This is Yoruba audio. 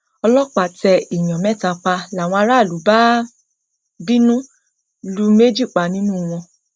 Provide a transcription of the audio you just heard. ọlọpàá tẹ èèyàn mẹta pa làwọn aráàlú bá bínú lu méjì pa nínú wọn